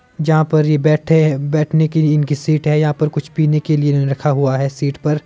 जहां पर यह बैठे बैठने की इनकी सीट है यहां पर कुछ पीने के लिए इन्होने रखा हुआ है सीट पर --